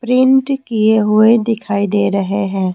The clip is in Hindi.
प्रिंट किए हुए दिखाई दे रहे हैं।